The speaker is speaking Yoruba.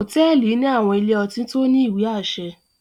Hotẹẹli ni àwọn ìlé-ọtí to ni iwe-aṣẹ